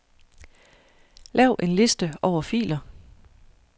Lav en liste over filer.